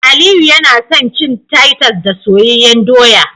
Aliyu yana son cin Titus da soyayyen doya